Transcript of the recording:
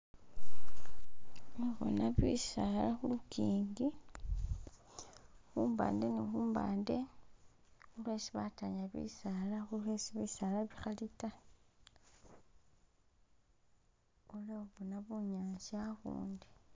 Khembona bisaala khu lukingi khu luwande ni khu luwande yesi bataanya bisaala oba esi bisala bikhali ta, iliwo bona bunyasi awo,